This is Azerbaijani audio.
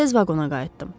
Tez vaqona qayıtdım.